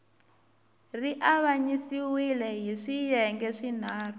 ri avanyisiwile hi swiyenge swinharhu